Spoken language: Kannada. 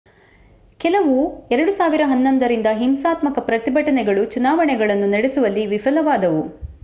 ಕೆಲವು 2011 ರಿಂದ ಹಿಂಸಾತ್ಮಕ ಪ್ರತಿಭಟನೆಗಳು ಚುನಾವಣೆಗಳನ್ನು ನಡೆಸುವಲ್ಲಿ ವಿಫಲವಾದವು